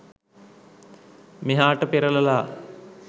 මෙහාට පෙරලලා